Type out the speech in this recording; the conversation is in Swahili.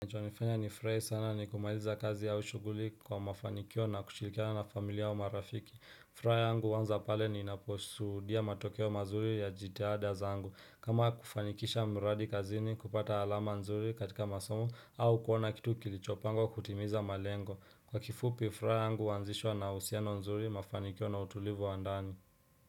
Kinachonifanya nifurahi sana ni kumaliza kazi au shughuli kwa mafanikio na kushirikiana na familia au marafiki furaha yangu huanza pale ni ninaposuhudia matokeo mazuri ya jitada zangu kama kufanikisha mradi kazini kupata alama nzuri katika masomo au kuona kitu kilichopangwa kutimiza malengo Kwa kifupi furaha yangu huanzishwa na uhusiano nzuri mafanikio na utulivu wa ndani.